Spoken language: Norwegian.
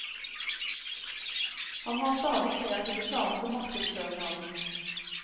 Han har stadig kreative planer for markedsføring av den.